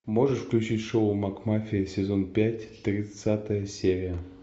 можешь включить шоу макмафия сезон пять тридцатая серия